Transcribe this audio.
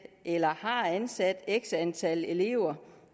eller har ansat x antal elever